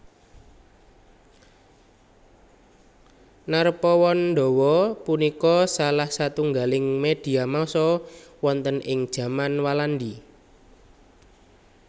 Narpawandawa punika salah satunggaling medhia massa wonten ing jaman Walandi